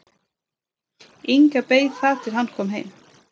Inga beið þar til hann kom heim.